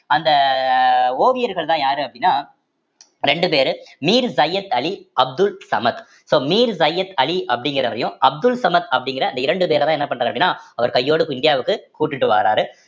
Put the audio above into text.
அந்த ஓவியர்கள்தான் யாரு அப்படின்னா ரெண்டு பேரு மீர் சையத் அலி, அப்துல் சமத் so மீர் சையத் அலி அப்படிங்கிறவரையும் அப்துல் சமத் அப்படிங்கிற அந்த இரண்டு பேரைதான் என்ன பண்றாரு அப்படின்னா அவர் கையோட கூ~ இந்தியாவுக்கு கூட்டிட்டு வாராரு